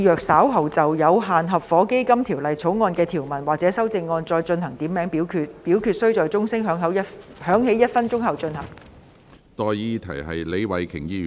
我命令若稍後就《有限合夥基金條例草案》的條文或其修正案進行點名表決，表決須在鐘聲響起1分鐘後進行。